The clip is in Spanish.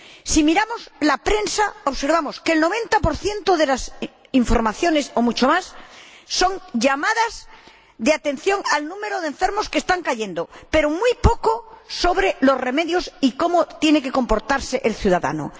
Si miramos la prensa, observamos que el 90 de lo que se publica, o mucho más, son llamadas de atención sobre el número de enfermos que están cayendo, pero se habla muy poco sobre los remedios y cómo tiene que comportarse el ciudadano.